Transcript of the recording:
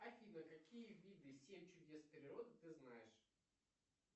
афина какие виды семь чудес природы ты знаешь